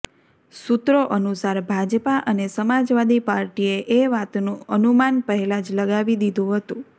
સૂત્રો અનુસાર ભાજપા અને સમાજવાદી પાર્ટીએ એ વાતનું અનુમાન પહેલા જ લગાવી દીધું હતું